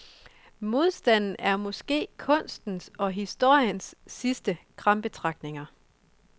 Modstanden er måske kunstens og historiens sidste krampetrækninger.